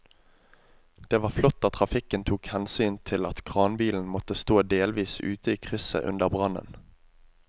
Det var flott at trafikken tok hensyn til at kranbilen måtte stå delvis ute i krysset under brannen.